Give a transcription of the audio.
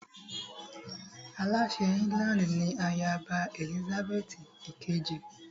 Aláṣẹ ilẹ̀ England ni ayaba Èlísábẹ́ẹ́tì ìkejì